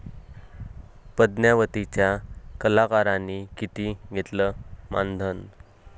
पद्मावती'च्या कलाकारांनी किती घेतलं मानधन?